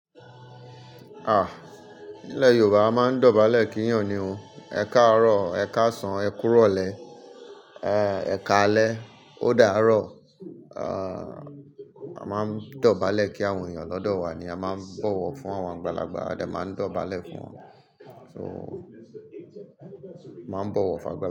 Ah! Ní ilẹ̀ Yorùbá a máa ń dọ̀bálẹ̀ kí èèìyàn ni o, ẹ káàárọ̀, ẹ káàsán, ẹ kúròlẹ̀, eh, ẹ ẹkáalẹ́, ó dàárọ̀. A máa ń dọ̀bálẹ̀ kí àwọn èèyàn lọ́dọ̀ wa ni a máa ń bọ̀wọ̀ fún àwọn àgbàlagbà, a dẹ máa ń dọ̀bálẹ̀ fún wọn. So, máa ń bọ̀wọ̀ fún àgbà.